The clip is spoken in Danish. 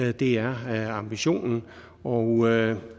at det er ambitionen og